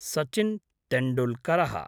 Sachin टेण्डुल्करः